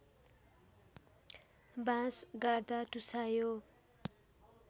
बाँस गाड्दा टुसायो